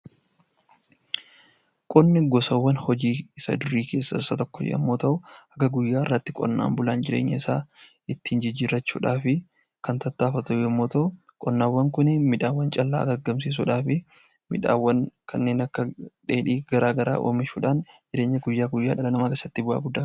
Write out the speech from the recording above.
Qonni gosawwan hojii isa durii keessaa tokko yeroo ta'u, hanga guyyaa har'aatti qonnaan bulaan jireenya isaa ittiin jijjiirrachuudhaaf kan tattaafatu yommuu ta'u, qonnaawwan kun midhaan callaa argamsiisuudhaaf midhaan kanneen dheedhiiwwan gara garaa oomishuudhaan jireenya guyyaa guyyaa dhala namaa keessatti bu'aa guddaa qaba.